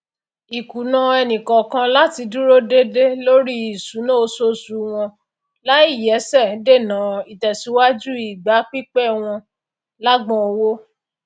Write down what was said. ìkùnà ẹnìkọọkan láti dúró déédé lóri ìṣúná oṣoosù wọn láìyẹsẹ dènà ìtẹsíwájú ìgbà pípẹ wọn lágbọn owó